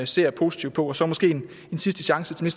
ser positivt på og så måske en sidste chance til